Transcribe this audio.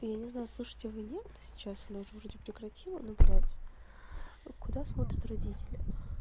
я не знаю слушаете вы нет сейчас она уже вроде прекратила но блядь куда смотрят родители